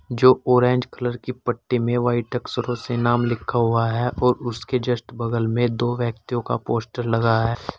जो orange colour की पट्टी में वाइट अक्षरों से नाम लिखा हुआ है और उसके जस्ट बगल में दो व्यक्तियों का पोस्टर लगा है।